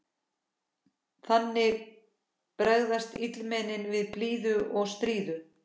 Þannig bregðast mikilmennin við blíðu og stríðu.